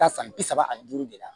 Taa san bi saba ani duuru de la